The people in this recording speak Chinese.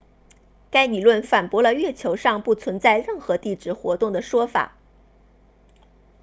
该理论反驳了月球上不存在任何地质活动的说法